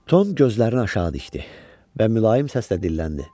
Tom gözlərini aşağı dikdi və mülayim səslə dilləndi: